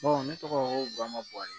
ne tɔgɔ ko baari